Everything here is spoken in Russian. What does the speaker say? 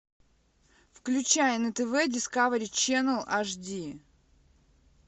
включай на тв дискавери ченел аш ди